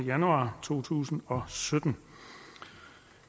januar to tusind og sytten